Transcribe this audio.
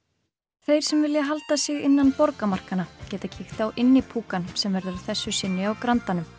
þeir sem vilja halda sig innan borgarmarkanna geta kíkt á sem verður að þessu sinni á grandanum